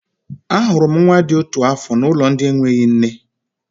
Ahụrụ m nwa dị otu afọ n'ụlọ ndị enweghị nne.